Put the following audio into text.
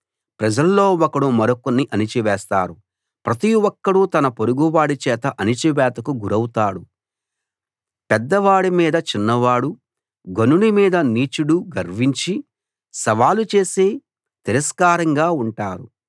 ప్రజల్లో ఒకడు మరొకణ్ణి అణిచివేస్తారు ప్రతి ఒక్కడూ తన పొరుగువాడి చేత అణిచివేతకు గురౌతాడు పెద్దవాడి మీద చిన్నవాడు ఘనుని మీద నీచుడు గర్వించి సవాలు చేసి తిరస్కారంగా ఉంటారు